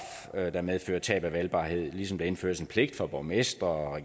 der medfører tab af valgbarhed ligesom der indføres en pligt for borgmestre og